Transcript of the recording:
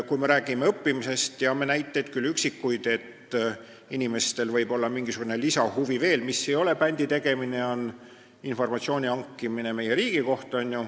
Kui me räägime õppimisest, siis me teame üksikuid näiteid, et inimesel võib olla mingisugune lisahuvi, mis ei ole bändi tegemine, vaid meie riigi kohta informatsiooni hankimine.